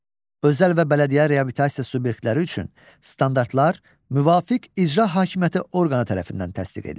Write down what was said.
Özəl və bələdiyyə reabilitasiya subyektləri üçün standartlar müvafiq icra hakimiyyəti orqanı tərəfindən təsdiq edilir.